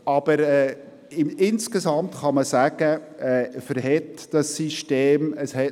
Aber insgesamt kann man sagen, dass das System Stand hält.